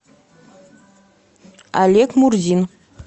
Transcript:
олег мурзин